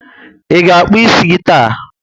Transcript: I ga akpu ísì gị taa?